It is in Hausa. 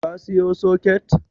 Ka siyo soket?